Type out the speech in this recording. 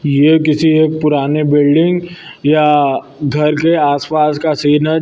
ये किसी एक पुराने बिल्डिंग या घर के आस पास का सीन है ज--